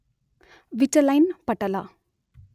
Vitelline ಪಟಲ.